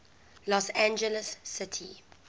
los angeles city